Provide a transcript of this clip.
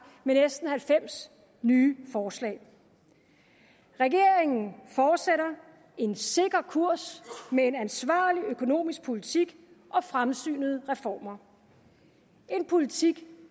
med næsten halvfems nye forslag regeringen fortsætter en sikker kurs med en ansvarlig økonomisk politik og fremsynede reformer en politik